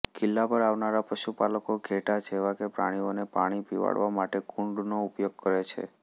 કિલ્લા પર આવનારા પશુપાલકો ઘેંટા જેવા પ્રાણીઓને પાણી પીવડાવવા માટે કુંડનો ઉપયોગ કરે છે